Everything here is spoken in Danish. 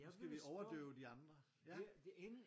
Nu skal vi overdøve de andre ja